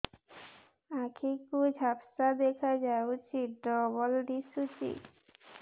ଆଖି କୁ ଝାପ୍ସା ଦେଖାଯାଉଛି ଡବଳ ଦିଶୁଚି